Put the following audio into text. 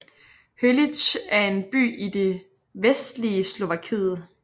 Holíč er en by i det vestlige Slovakiet